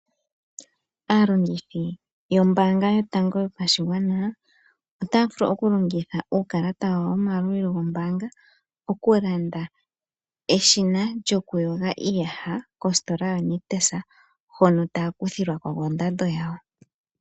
Aalongithi yombaanga yotango yopashigwana, otaya vulu oku longitha uukalata wawo womayalulilo gombaanga oku landa eshina lyoku yoga iiyaha kositora ya Nictus hono taya kuthilwa ko kondando yawo.